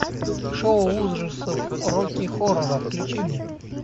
шоу ужасов рокки хоррора включи мне